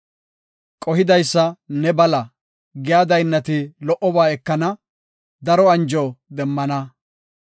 Qohidaysa ne bala giya daynnati lo77oba ekana daro anjo demmana.